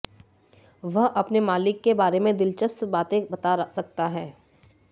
वह अपने मालिक के बारे में दिलचस्प बातें बता सकता है